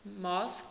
masked